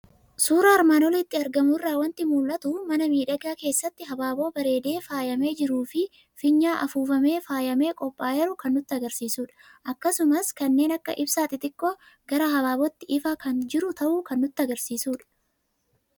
Suuraa armaan olitti argamu irraa waanti mul'atu; mana miidhagaa keessatti habaaboo bareedee faayamee jiruufi fiinyaa afuufamee faayamee qophaa'eeru kan nutti agarsiisudha. Akkasumas kanneen akka ibsaa xixiqqoo gara habaabootti ifaa kan jiru ta'uu kan nutti agarsiisudha.